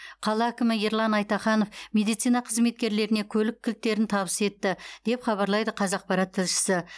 қала әкімі ерлан айтаханов медицина қызметкерлеріне көлік кілттерін табыс етті деп хабарлайды қазақпарат тілшісі